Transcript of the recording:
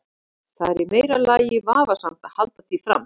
Það er í meira lagi vafasamt að halda því fram.